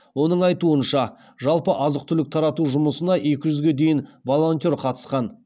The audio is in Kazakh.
оның айтуынша жалпы азық түлік тарату жұмысына екі жүзге дейін волонтер қатысқан